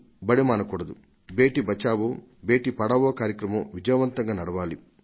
బేటీ బచావో బేటీ పఢావో కార్యక్రమం విజయవంతంగా నడవాలి